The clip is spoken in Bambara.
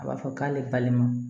A b'a fɔ k'ale balima